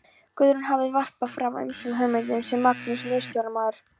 Guðrún hafði varpað fram ýmsum hugmyndum sem Magnús miðstjórnarmaður